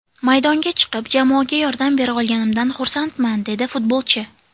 Maydonga chiqib, jamoaga yordam bera olganimdan xursandman”, dedi futbolchi.